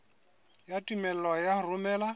ya tumello ya ho romela